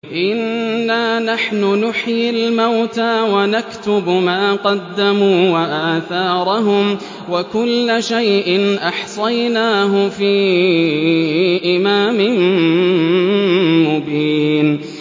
إِنَّا نَحْنُ نُحْيِي الْمَوْتَىٰ وَنَكْتُبُ مَا قَدَّمُوا وَآثَارَهُمْ ۚ وَكُلَّ شَيْءٍ أَحْصَيْنَاهُ فِي إِمَامٍ مُّبِينٍ